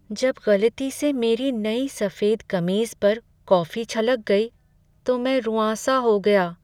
जब गलती से मेरी नई सफेद कमीज पर कॉफी छलक गई, तो मैं रुआँसा हो गया।